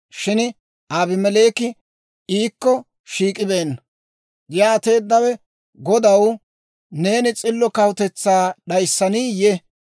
Shin Abimeleeki iikko shiik'ibeenna. Yaateeddawe, «Godaw, neeni s'illo kawutetsaa d'ayssaniiyye?